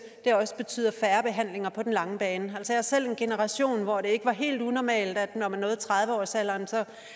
også betyder færre behandlinger på den lange bane jeg er selv af en generation hvor det ikke var helt unormalt at når man nåede tredive årsalderen